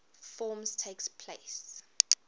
forms takes place